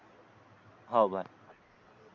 हो बाय